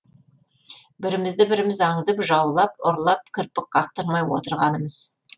бірімізді біріміз аңдып жаулап ұрлап кірпік қақтырмай отырғанымыз